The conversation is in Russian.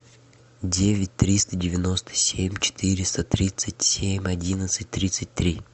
девять триста девяносто семь четыреста тридцать семь одиннадцать тридцать три